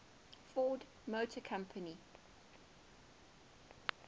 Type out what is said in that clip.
ford motor company